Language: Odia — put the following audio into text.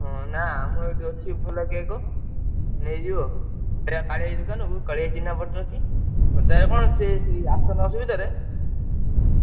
ହଁ ନାଁ ଅମର ଏଠି ଅଛି ଭଲ cake ନେଇଯିବ ଯିବାକାଳିଆ ଭାଇ ଦୁକାନ କୁ କାଲିଆ ଭାଇ ଚିହ୍ନାପରିଚୟ ଅଛି, ହାଜ଼ାର୍ କଣ ସିଏ ସେଇ ଆଠଶହ ନଅଶହ ଭିତରେ।